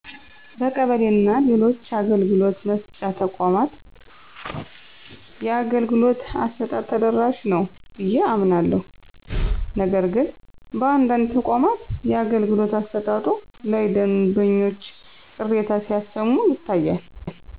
በቀበሌ እና ሌሎችአገልግሎት መስጫ ተቋማት የአገልግሎት አሰጣጡ ተደራሽ ነዉ ብየ አምናለሁ ነገርግን በአንዳንድ ተቋማት የአገልግሎት አሰጣጡ ላይ ደንበኞች ቅሬታ ሲያሰማ ይታያል